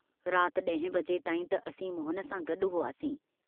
रात ॾहें बजे ताईं त असीं मोहन सां गड्डु हुआसीं।